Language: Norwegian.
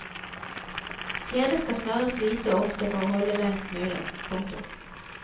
Kjedet skal smøres lite og ofte for å holde lengst mulig. punktum